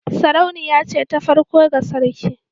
Sarauniya ce ta farko ga sarki